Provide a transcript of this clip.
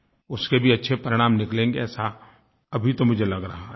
उसके भी अच्छे परिणाम निकलेंगे ऐसा अभी तो मुझे लग रहा है